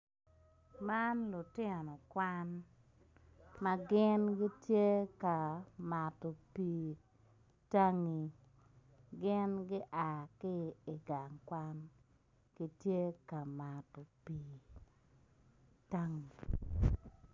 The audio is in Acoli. Dano gitye i gang kwan ma gitye ka mato pii i tangi gin gua ki i gang kwan gitye ka mato pii tangi